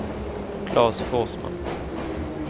Klas Forsman